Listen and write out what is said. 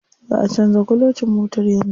Za'a canza kulocin motar yanzu.